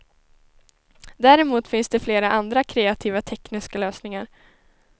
Däremot finns det flera andra kreativa tekniska lösningar.